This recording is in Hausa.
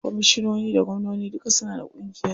Komishinoni da gwamnoni duka suna da ƙungiyar su.